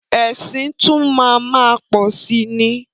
Ẹ̀sìn tún máa má pọ̀si ni.